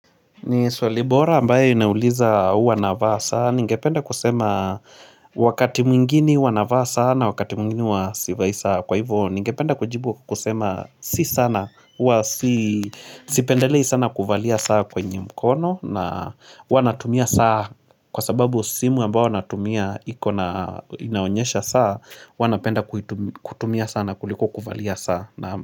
Ni swali bora ambayo inauliza uwa navaa saa Ningependa kusema wakati mwingine uwa navaa saa na wakati mwingine huwa sivai saa Kwa hivyo ningependa kujibu kusema si sana Uwa sipendelei sana kuvalia saa kwenye mkono na huwa natumia saa kwa sababu simu ambao natumia iko na inaonyesha saa huwa napenda kutumia saa na kuliko kuvalia saa.